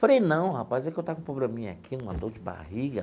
Falei, não rapaz, é que eu estava com um probleminha aqui, uma dor de barriga.